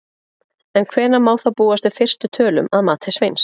En hvenær má þá búast við fyrstu tölum að mati Sveins?